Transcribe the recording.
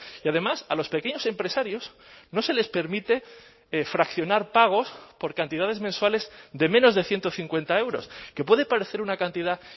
y además a los pequeños empresarios no se les permite fraccionar pagos por cantidades mensuales de menos de ciento cincuenta euros que puede parecer una cantidad